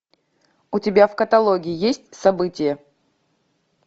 у тебя в каталоге есть события